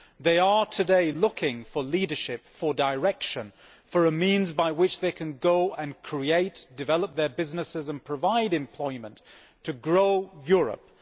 They are looking today for leadership, direction, and a means by which they can go and create and develop their businesses and provide employment to grow Europe.